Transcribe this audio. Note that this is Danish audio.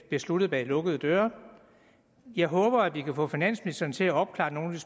besluttet bag lukkede døre jeg håber at vi kan få finansministeren til at opklare nogle